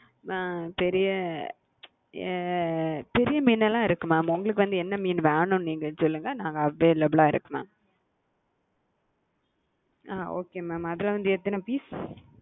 ஹம் பெரிய அ பெரிய மீனுலாம் இருக்கு mam உங்களுக்கு வந்து என்ன மீனு வேணும் னு நீங்க சொல்லுங்க நாங்க available ஆ இருக்கு mam okay mam அதுல வந்து எத்தன piece?